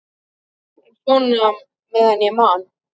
En svona meðan ég man.